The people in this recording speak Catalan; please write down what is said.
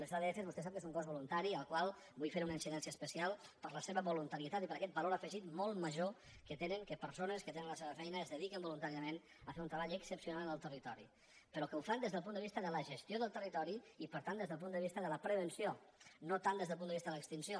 les adf vostè sap que és un cos voluntari al qual vull fer una incidència especial per la seva voluntarietat i per aquest valor afegit molt major que tenen persones que tenen la seva feina i es dediquen voluntàriament a fer un treball excepcional en el territori però que ho fan des del punt de vista de la gestió del territori i per tant des del punt de vista de la prevenció no tant des del punt de vista de l’ex·tinció